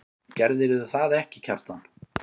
Gerðirðu það ekki, Kjartan?